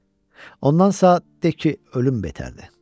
Ondansa de ki, ölüm betərdi.